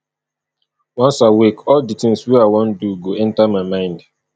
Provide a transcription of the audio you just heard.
once i wake all di tins wey i wan do go enta my mind